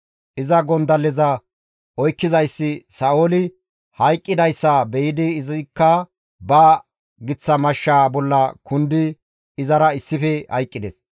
Iza gondalleza oykkizayssi Sa7ooli hayqqidayssa be7idi izikka ba giththa mashshaa bolla kundidi izara issife hayqqides.